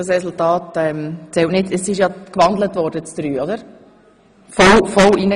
Das angezeigte Resultat zählt nicht.